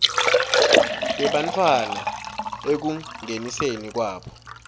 tebantfwana ekungeniseni kwabo